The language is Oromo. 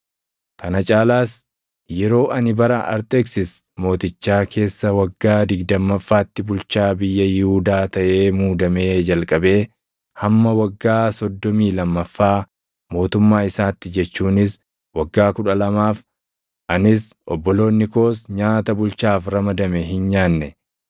Kana caalaas yeroo ani bara Arxeksis mootichaa keessa waggaa digdammaffaatti bulchaa biyya Yihuudaa taʼee muudamee jalqabee hamma waggaa soddomii lammaffaa mootummaa isaatti jechuunis waggaa kudha lamaaf, anis obboloonni koos nyaata bulchaaf ramadame hin nyaanne.